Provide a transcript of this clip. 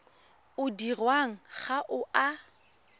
o dirwang ga o a